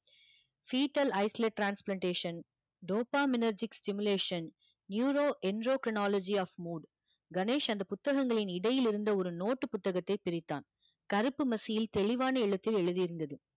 , dopaminergic stimulation, neuroendocrinology of mood, Ganesh அந்த புத்தகங்களின் இடையிலிருந்த ஒரு நோட்டு புத்தகத்தை பிரித்தான் கருப்பு மசியில் தெளிவான எழுத்தில் எழுதியிருந்தது